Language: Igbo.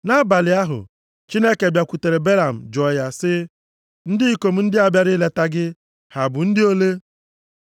Nʼabalị ahụ, Chineke bịakwutere Belam jụọ ya sị, “Ndị ikom ndị a bịara ileta gị, ha bụ ndị ole?”